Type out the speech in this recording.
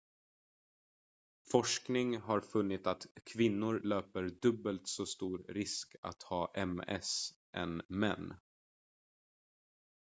forskning har funnit att kvinnor löper dubbelt så stor risk att ha ms än män